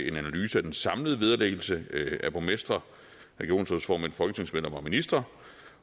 en analyse af den samlede vederlæggelse af borgmestre regionsrådsformænd folketingsmedlemmer og ministre